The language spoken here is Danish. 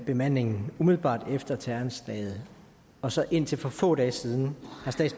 bemandingen umiddelbart efter terroranslaget og så indtil for få dage siden